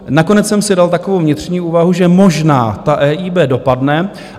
Nakonec jsem si dal takovou vnitřní úvahu, že možná ta EIB dopadne.